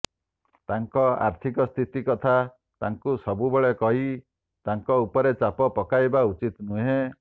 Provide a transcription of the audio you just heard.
ତାଙ୍କ ଆର୍ଥିକସ୍ଥିତି କଥା ତାଙ୍କୁ ସବୁବେଳେ କହି ତାଙ୍କ ଉପରେ ଚାପ ପକାଇବା ଉଚିତ ନୁହେଁ